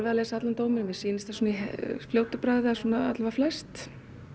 að lesa allan dóminn en mér sýnist það í fljótu bragði allavega svona flest